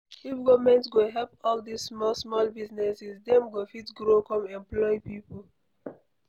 If government go help all dis small small businesses, dem go fit grow come employ people.